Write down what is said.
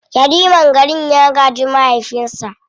Yariman garin ya gaji mahaifinsa.